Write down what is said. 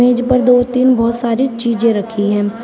मेज पर दो तीन बहोत सारी चीज़ें रखी है।